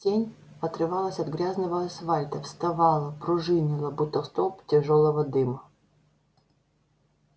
тень отрывалась от грязного асфальта вставала пружинила будто столб тяжёлого дыма